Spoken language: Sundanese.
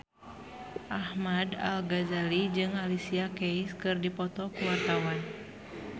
Ahmad Al-Ghazali jeung Alicia Keys keur dipoto ku wartawan